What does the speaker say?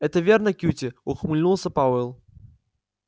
это верно кьюти ухмыльнулся пауэлл